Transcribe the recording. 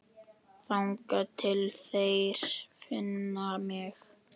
Þangað til þeir finna mig.